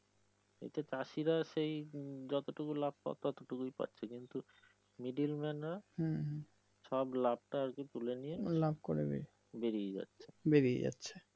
এইতো চাষিরা সেই যতটুকু লাভ পাওয়ার ততটুকুই পাচ্ছে কিন্তু middleman রা সব লাভটা আরকি তুলে নিয়ে বেরিয়ে যাচ্ছে